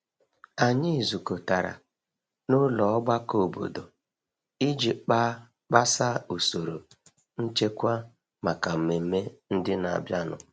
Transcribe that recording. Anyị zukọtara na ụlọ ọgbakọ obodo iji kpa gbasa usoro nchekwa maka mmemme ndị n'abịa nu.